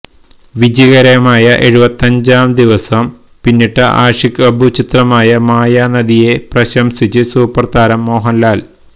വിജയകരമായ എഴുപത്തിയഞ്ചാം ദിവസം പിന്നിട്ട ആഷിഖ് അബു ചിത്രം മായാനദിയെ പ്രശംസിച്ച് സൂപ്പര്താരം മോഹന്ലാല്